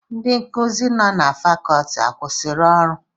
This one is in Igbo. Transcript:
Ndị nkuzi nọ na Fakọọti akwụsịrị ọrụ?